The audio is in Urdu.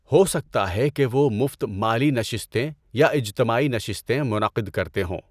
ہو سکتا ہے کہ وہ مفت مالی نشستیں یا اجتماعی نشستیں منعقد کرتے ہوں۔